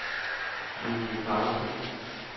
Julie Karlsson